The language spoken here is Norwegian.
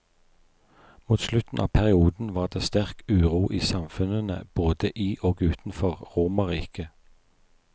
Mot slutten av perioden var det sterk uro i samfunnene både i og utenfor romerriket.